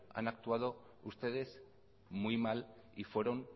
han actuado ustedes muy mal y fueron